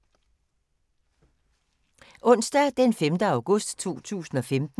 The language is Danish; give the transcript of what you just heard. Onsdag d. 5. august 2015